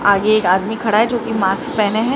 आगे एक आदमी खड़ा है जोकि मार्क्स पहने हैं।